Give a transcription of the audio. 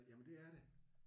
Jamen det er det